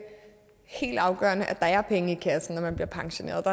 helt afgørende at der er penge i kassen når man bliver pensioneret